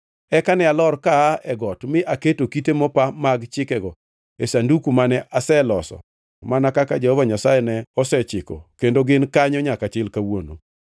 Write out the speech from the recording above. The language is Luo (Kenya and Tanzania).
Eka ne alor kaa e got mi aketo kite mopa mag chikego e sanduku mane aseloso mana kaka Jehova Nyasaye ne osechiko kendo gin kanyo nyaka chil kawuono.